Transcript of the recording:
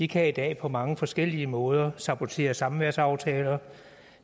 kan i dag på mange forskellige måder sabotere samværsaftaler